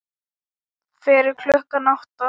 Fyrir klukkan átta?